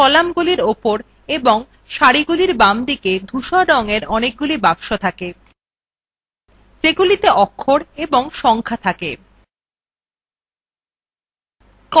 কলামগুলির উপর এবং সারিগুলির বামদিকে ধূসর রঙের অনেকগুলি বাক্স আছে যেগুলিতে অক্ষর এবং সংখা থাকে